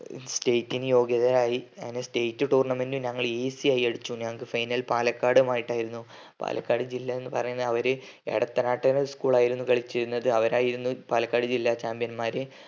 state നു യോഗ്യരായി അങ്ങനെ state tournament ഞങ്ങള് easy ആയി കളിച്ചു ഞങ്ങള്ക് final പാലക്കാടുമായിട്ടായിരുന്നു പാലക്കാടു ജില്ലാ എന്ന് പറയുന്നേ അവര് എടത്തനാട്ട് school ആയിരുന്നു കളിച്ചിരുന്നത് അവരായിരുന്നു പാലക്കാട് ജില്ലാ chambion മാര്